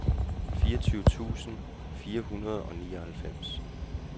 fireogtyve tusind fire hundrede og nioghalvfems